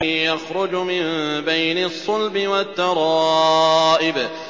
يَخْرُجُ مِن بَيْنِ الصُّلْبِ وَالتَّرَائِبِ